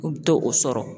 U bɛ to o sɔrɔ